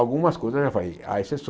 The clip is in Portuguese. Algumas coisas há